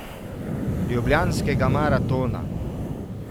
Ljubljanskega maratona.